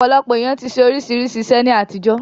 Ọ̀pọ̀lọpọ̀ èèyàn ti ṣe oríṣiríṣi iṣẹ́ ní àtijọ́